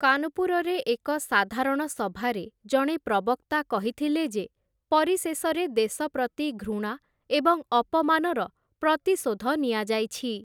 କାନପୁରରେ ଏକ ସାଧାରଣ ସଭାରେ ଜଣେ ପ୍ରବକ୍ତା କହିଥିଲେ ଯେ, ପରିଶେଷରେ ଦେଶପ୍ରତି ଘୃଣା ଏବଂ ଅପମାନର ପ୍ରତିଶୋଧ ନିଆଯାଇଛି ।